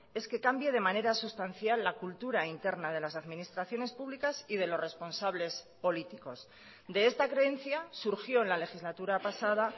es que cambie de manera sustancial la cultura interna de las administraciones públicas y de los responsables políticos de esta creencia surgió en la legislatura pasada